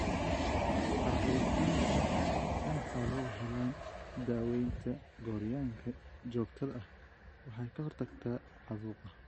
Xaqiijinta in xooluhu helaan daawaynta gooryaanka joogtada ah waxay ka hortagtaa caabuqa.